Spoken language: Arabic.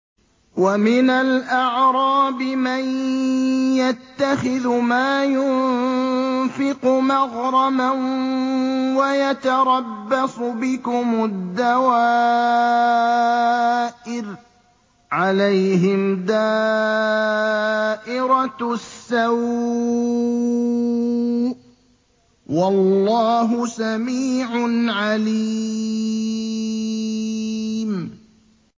وَمِنَ الْأَعْرَابِ مَن يَتَّخِذُ مَا يُنفِقُ مَغْرَمًا وَيَتَرَبَّصُ بِكُمُ الدَّوَائِرَ ۚ عَلَيْهِمْ دَائِرَةُ السَّوْءِ ۗ وَاللَّهُ سَمِيعٌ عَلِيمٌ